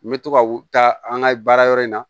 N bɛ to ka taa an ka baarayɔrɔ in na